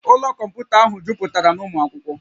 Ụlọ kọmputa ahụ jupụtara na ụmụ akwụkwọ